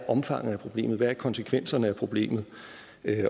omfanget af problemet hvad konsekvenserne af problemet